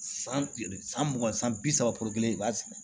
San san mugan san bi saba kelen i b'a sɛnɛ